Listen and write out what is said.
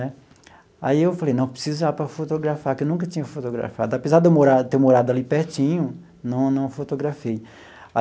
Né aí eu falei, não, preciso ir lá para fotografar, que eu nunca tinha fotografado, apesar de eu morar ter morado ali pertinho, não não fotografei.